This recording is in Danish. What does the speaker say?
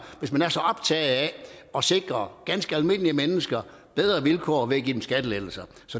hvis man er så optaget af at sikre ganske almindelige mennesker bedre vilkår ved at give dem skattelettelser